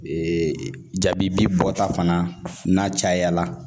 Ee jabi bi bɔta fana n'a caya la